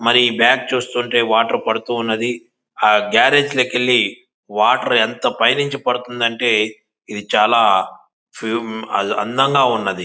మరి బ్యాక్ చూస్తుంటే వాటర్ పడుతున్నది. ఆ గారేజ్ల లోకేళి వాటర్ ఎంత పైనుండి పడుతుంది అంటే ఇది చాల అందంగా ఉన్నది.